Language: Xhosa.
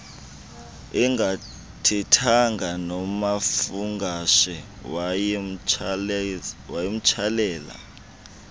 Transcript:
engathethanga nomafungwashe wayemtsalela